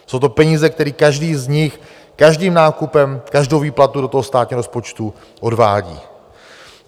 Jsou to peníze, které každý z nich každým nákupem, každou výplatou do toho státního rozpočtu odvádí.